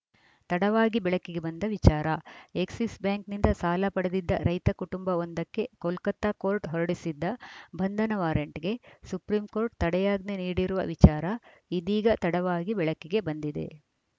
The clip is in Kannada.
ತಡವಾಗಿ ಬೆಳಕಿಗೆ ಬಂದ ವಿಚಾರ ಎಕ್ಸಿಸ್‌ ಬ್ಯಾಂಕಿನಿಂದ ಸಾಲ ಪಡೆದಿದ್ದ ರೈತ ಕುಟುಂಬವೊಂದಕ್ಕೆ ಕೋಲ್ಕತಾ ಕೋರ್ಟ್‌ ಹೊರಡಿಸಿದ್ದ ಬಂಧನ ವಾರಂಟ್‌ಗೆ ಸುಪ್ರೀಂ ಕೋರ್ಟ್‌ ತಡೆಯಾಜ್ಞೆ ನೀಡಿರುವ ವಿಚಾರ ಇದೀಗ ತಡವಾಗಿ ಬೆಳಕಿಗೆ ಬಂದಿದೆ